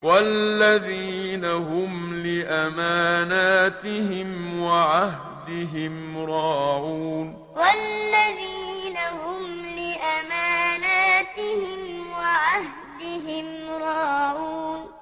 وَالَّذِينَ هُمْ لِأَمَانَاتِهِمْ وَعَهْدِهِمْ رَاعُونَ وَالَّذِينَ هُمْ لِأَمَانَاتِهِمْ وَعَهْدِهِمْ رَاعُونَ